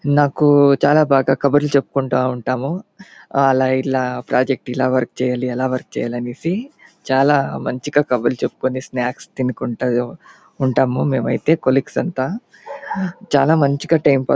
నాకు చాల బాగా కబుర్లు చోపుకొంటూ ఉంటాము .ఆలా ఇలా ప్రాజెక్ట్ వర్క్ ఆలా వర్క్ చేయాలి ఇలా వర్క్ చేయాలి అనేసి స్నాప్క్స్ తినకకుంట ఉంటాము.మేమైతే కొల్లీగ్స్ అంత చాల మంచిగా టైం --